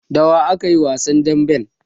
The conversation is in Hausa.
Da wa aka yi wasan damben?